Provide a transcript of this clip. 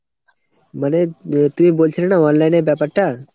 মানে তুমি বলছিলে না online এর ব্যাপারটা ?